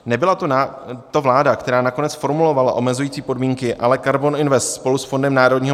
Nebyla to vláda, která nakonec formulovala omezující podmínky, ale KARBON INVEST spolu s FNM.